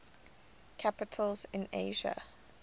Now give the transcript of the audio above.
capitals in asia